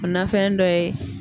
O nafɛn dɔ ye